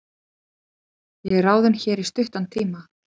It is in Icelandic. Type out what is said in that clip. Ég er ráðinn hér í stuttan tíma.